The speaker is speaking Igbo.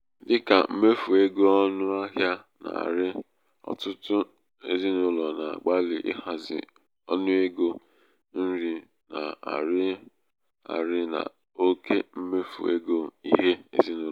dị ka mmefu ego ọnụ ahịa na-arị ọtụtụ ezinụlọ na -agbalị ịhazi ọnụ ego nri na-arị arị na oke mmefu ego ihe ezinaụlọ